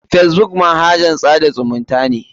Facebook manahajn tsada zumunta ne.